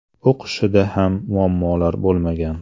O‘qishida ham muammolar bo‘lmagan.